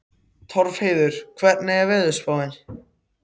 Torfheiður, hvernig er veðurspáin?